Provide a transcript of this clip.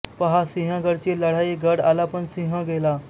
पहा सिंहगडाची लढाई गड आला पण सिंह गेला